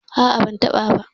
A'a ban tabbata ba.